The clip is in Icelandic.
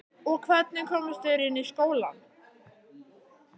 Og hvernig komust þeir inn í skólann?